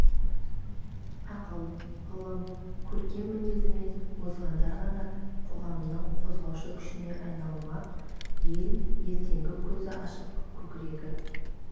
ақыл ғылым көркем мінезімен озғандар ғана қоғамның қозғаушы күшіне айналмақ ел ертеңі көзі ашық көкірегі